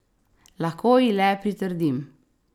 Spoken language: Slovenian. Lahko ji le pritrdim.